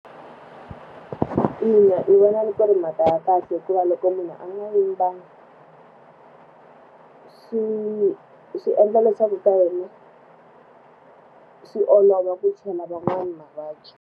Ina, ni vona loko ri mhaka ya kahle hikuva loko munhu a nga yimbangi swi swi endla leswaku yena swi olova ku chela van'wana mavabyi.